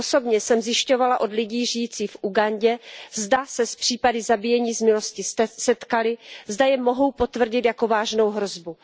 Osobně jsem zjišťovala od lidí žijících v Ugandě, zda se s případy zabíjení z milosti setkali, zda je mohou potvrdit jako vážnou hrozbu.